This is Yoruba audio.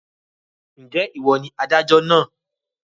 Ǹjẹ́ ìwọ ni adájọ́ náà?